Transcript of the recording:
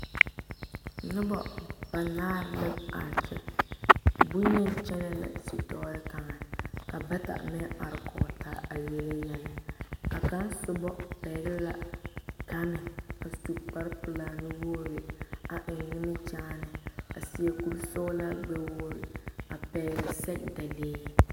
Nobo banaare la are bonyene kyɛne la zituure kaŋa ka bata maŋ are kɔŋ taa a yeli yɛllɛ ka kaŋ soba pegle la gane a su kpare pelaa nu wogre a eŋ nimikyaane a seɛ kuri sɔglaa gbɛ wogre a pegle sɛgedalee.